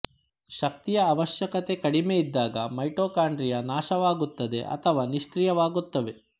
ಶಕ್ತಿಯ ಅವಶ್ಯಕತೆ ಕಡಿಮೆ ಇದ್ದಾಗ ಮೈಟೊಕಾಂಡ್ರಿಯ ನಾಶವಾಗುತ್ತದೆ ಅಥವಾ ನಿಷ್ಕ್ರಿಯವಾಗುತ್ತವೆ